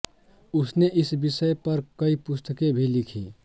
उसने इस विषय पर कई पुस्तकें भी लिखीं